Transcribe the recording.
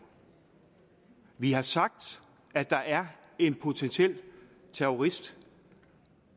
vi har sagt at der er en potentiel terrorist